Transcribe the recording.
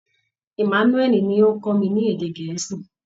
Emmanúẹ̀lì ni ó ń kọ́ mi ní èdè gẹ̀ẹ́sì